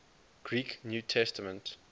greek new testament